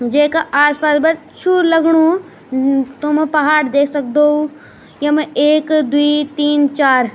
येका आस पास ब अच्छू लगणु तुम पहाड़ देख सक्दो यमा एक द्वि तीन चार --